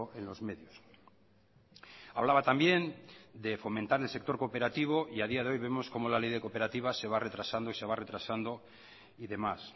en los medios hablaba también de fomentar el sector cooperativo y a día de hoy vemos cómo la ley de cooperativas se va retrasando y se va retrasando y demás